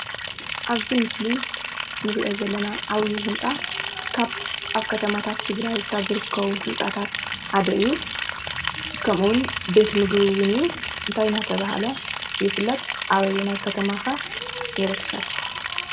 ኣብዚ ምስሊ ንሪኦ ዘለና ዓብዩ ህንፃ ኣብ ከተማታት ትግራይ ካብ ዝርከቡ ህንፃታት ሓደ እዩ:: ከምኡ እውን ቤት ምግብን እውን እዩ:: እንታይ እንዳተበሃለ ይፍለጥ? ኣብ ምንታይ ከተማ ከ ይርከብ ?